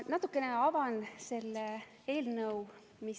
Ma natukene avan selle eelnõu pisut kaugemaid tagamaid.